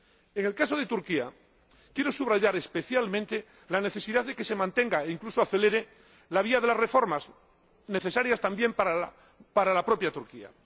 En el caso de Turquía, quiero subrayar, especialmente, la necesidad de que se mantenga e, incluso, acelere, la vía de las reformas, necesarias también para la propia Turquía.